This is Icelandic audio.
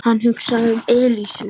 Hann hugsaði um Elísu.